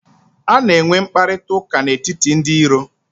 A na-enwe mkparịkọtaụka n'etiti ndị iro.